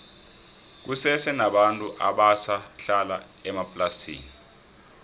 kusese nabantu abasa hlala emaplasini